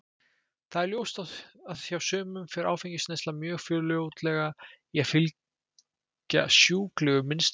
Það er ljóst að hjá sumum fer áfengisneysla mjög fljótlega að fylgja sjúklegu mynstri.